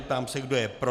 Ptám se, kdo je pro.